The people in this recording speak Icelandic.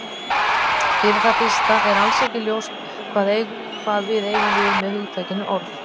Fyrir það fyrsta er alls ekki ljóst hvað við eigum við með hugtakinu orð.